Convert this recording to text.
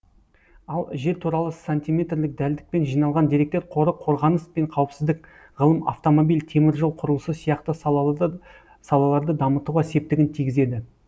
ал жер туралы сантиметрлік дәлдікпен жиналған деректер қоры қорғаныс пен қауіпсіздік ғылым автомобиль темір жол құрылысы сияқты салаларды дамытуға септігін тигізеді